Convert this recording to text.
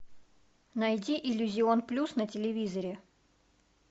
найди иллюзион плюс на телевизоре